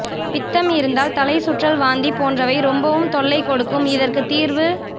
பித்தம் இருந்தால் தலை சுற்றல் வாந்தி போன்றவைப் ரொம்பவும் தொல்லை கொடுக்கும் இதற்கு தீர்வு